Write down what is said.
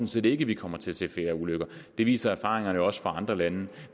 set ikke vi kommer til at se flere ulykker det viser erfaringerne jo også fra andre lande